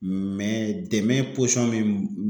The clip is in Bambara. dɛmɛ min